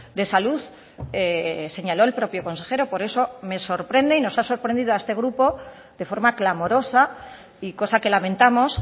de salud señaló el propio consejero por eso me sorprende y nos ha sorprendido a este grupo de forma clamorosa y cosa que lamentamos